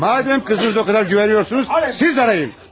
Madam qızınıza o qədər güvənirsiniz, siz axtarın.